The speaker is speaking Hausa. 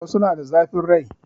Wasu na da zafin rai